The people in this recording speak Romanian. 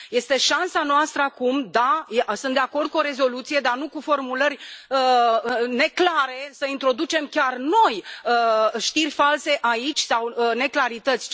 Este șansa noastră acum. Da, sunt de acord cu o rezoluție, dar nu cu formulări neclare, să introducem chiar noi știri false aici sau neclarități.